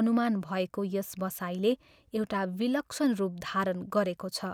अनुमान भएको यस बसाइले एउटा विलक्षण रूप धारण गरेको छ।